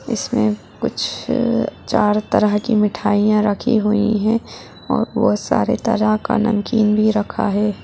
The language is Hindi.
इसमे कुछ चार तरह की मिठाईयां रखी हुई है और बोहत सारे तरह का नमकीन भी रखा है।